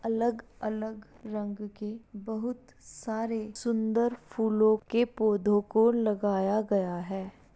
अलग-अलग रंग के बहुत सारे सुंदर फूलों के पौधों को लगाया है।